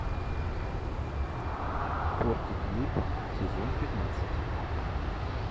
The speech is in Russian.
фортитьюд сезон пятнадцать